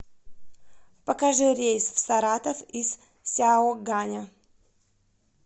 покажи рейс в саратов из сяоганя